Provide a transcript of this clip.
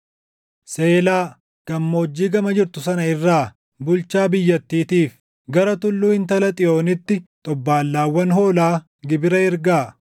Seelaa, gammoojjii gama jirtu sana irraa bulchaa biyyattiitiif, gara tulluu Intala Xiyoonitti xobbaallaawwan hoolaa gibira ergaa.